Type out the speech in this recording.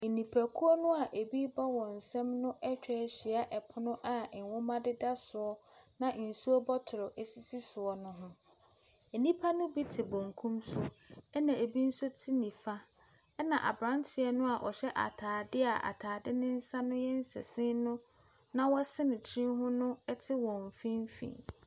Nnipakuo no a ɛbi rebɔ wɔn nsa mu atwa ahyia pono a nwoma deda soɔ na nsuo bottle sisi soɔ ne ho. Nnipa ne bi te bankum so na bi nso te nifa, na aberanteɛ no a ɔhyɛ ataadeɛ a ataadeɛ no yɛ nsasini no na wahyɛ ne tiri ho no te wɔn mfimfin.